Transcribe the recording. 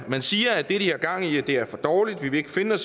man siger at det de har gang i i er for dårligt man vil ikke finde